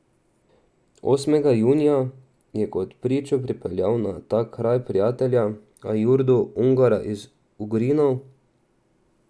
Osmega junija je kot pričo pripeljal na ta kraj prijatelja Ajurdo Ungara iz Ugrinov.